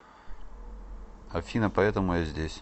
афина поэтому я здесь